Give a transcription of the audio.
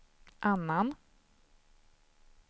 annan